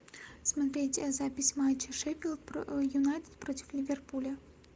смотреть запись матча шеффилд юнайтед против ливерпуля